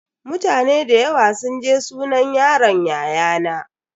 Mutane da yawa sun je sunan yaron yayana.